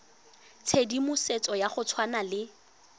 tshedimosetso ya go tshwana le